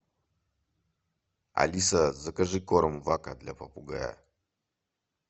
алиса закажи корм вака для попугая